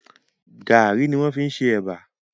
Gàárì ni wọ́n fi ṣe Ẹ̀bà